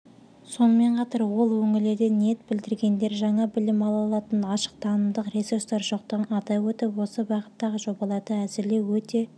сонымен қатар ол өңірлерде ниет білдіргендер жаңа білім ала алатын ашық танымдық ресурстар жоқтығын атап өтіп осы бағыттағы жобаларды әзірлеу өте